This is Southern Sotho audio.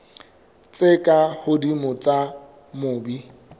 tse ka hodimo tsa mobu